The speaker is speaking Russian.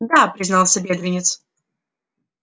да признался бедренец